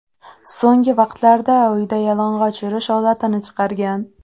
So‘nggi vaqtlarda uyda yalang‘och yurish odatini chiqargan.